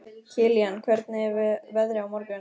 Kilían, hvernig er veðrið á morgun?